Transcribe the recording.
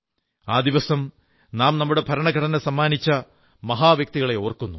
ആ ദിവസം നാം നമ്മുടെ ഭരണഘടനസമ്മാനിച്ച മഹാ വ്യക്തിത്വങ്ങളെ ഓർമ്മിക്കുന്നു